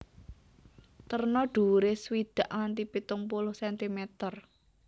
Terna dhuwuré swidak nganti pitung puluh centimeter